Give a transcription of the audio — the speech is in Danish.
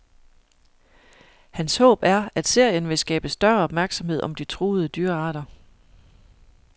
Hans håb er, at serien vil skabe større opmærksomhed om de truede dyrearter.